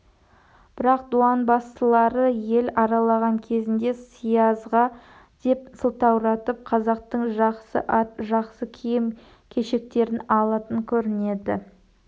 бірақ дуанбасылары ел аралаған кезінде сиязға деп сылтауратып қазақтың жақсы ат жақсы киім-кешектерін алатын көрінеді